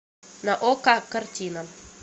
на окко картина